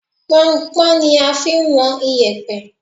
Pọnnpọ́n ni a fi ń wọn iyẹ̀pẹ̀